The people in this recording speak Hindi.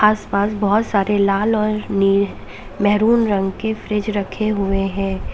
आस-पास बहोत सारे लाल और नि मेहरून रंग के फ्रिज रखे हुए हैं।